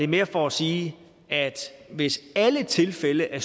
mere for at sige at hvis alle tilfælde af